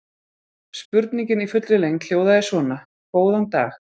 Spurningin í fullri lengd hljóðaði svona: Góðan dag.